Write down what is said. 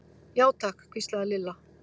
Já, takk hvíslaði Lilla.